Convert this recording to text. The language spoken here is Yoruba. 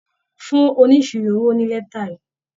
Fún oníṣirò owó ní létà yìí.